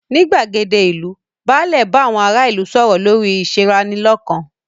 Ní gbàgéde ìlú, báàlẹ̀ bá àwọn ará ìlú sọ̀rọ̀ lórí ìṣeranilọ́kan.